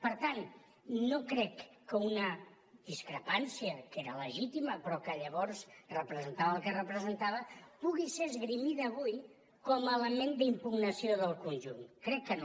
per tant no crec que una discrepància que era legítima però que llavors representava el que representava pugui ser esgrimida avui com a element d’impugnació del conjunt crec que no